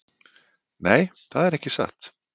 Nei, það er ekki satt.